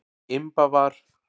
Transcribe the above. Imba var.